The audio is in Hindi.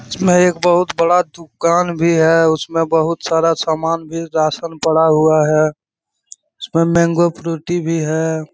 इसमें एक बहोत बड़ा दुकान भी है उसमे में बहोत सारा सामान भी रासन पड़ा हुआ है उसमे मानगो फ्रूटी भी है |